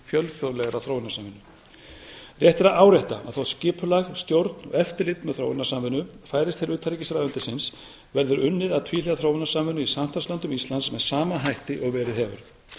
fjölþjóðlegrar þróunarsamvinnu rétt er að árétta að þótt skipulag stjórn og eftirlit með þróunarsamvinnu færist til utanríkisráðuneytisins verður unnið að tvíhliða þróunarsamvinnu í samstarfslöndum íslands með sama hætti og verið hefur við